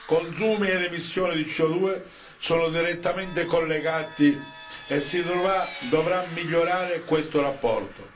Consumi ed emissioni di CO 2 sono direttamente collegati e si dovrà migliorare questo rapporto.